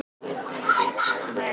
Aðrir kæmu ekki manni að.